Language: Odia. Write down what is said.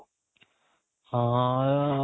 ହଁ